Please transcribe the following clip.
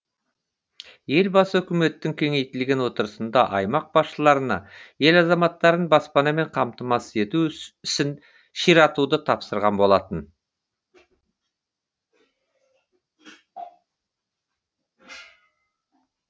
елбасы үкіметтің кеңейтілген отырысында аймақ басшыларына ел азаматтарын баспанамен қамтамасыз ету ісін ширатуды тапсырған болатын